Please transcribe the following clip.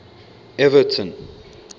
everton